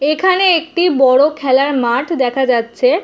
এখানে একটি বড়ো খেলার মাঠ দেখা যাচ্ছে-এ।